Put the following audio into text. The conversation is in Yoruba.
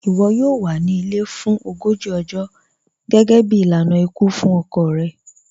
Iwọ yọọ wà ní ilẹ̀ fún ọgọ́jì ọ̀jọ̀ gẹgẹ̀bí ilànà ikú fún ọkọ̀ rẹ̀.